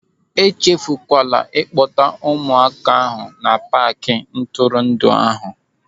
E chefukwala ịkpọta ụmụaka ahụ na paaki ntụrụndụ ahụ.